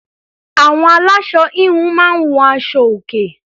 Àwọn aláṣọ -híhun máa ń hun aṣọ-òkè.